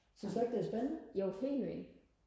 synes du ikke det er spændende